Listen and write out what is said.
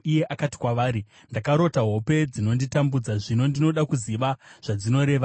iye akati kwavari, “Ndakarota hope dzinonditambudza zvino ndinoda kuziva zvadzinoreva.”